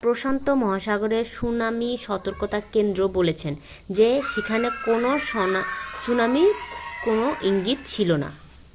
প্রশান্ত মহাসাগরের সুনামি সতর্কতা কেন্দ্রও বলেছে যে সেখানে কোনও সুনামির কোনও ইঙ্গিত ছিল না